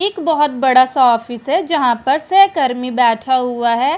एक बहुत बड़ा सा ऑफिस जहाँ पर सहकर्मी बैठा हुआ है।